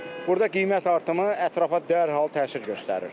Burda qiymət artımı ətrafa dərhal təsir göstərir.